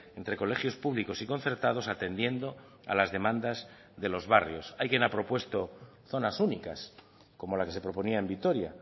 entre colegios públicos y concertados atendiendo a las demandas de los barrios alguien ha propuesto zonas únicas como la que se proponía en vitoria